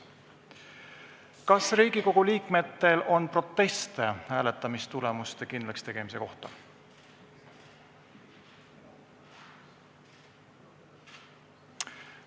Kas Riigikogu liikmetel on proteste hääletamistulemuste kindlakstegemise kohta?